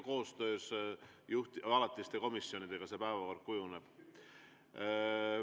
Eks ikka koostöös alaliste komisjonidega see päevakord kujuneb.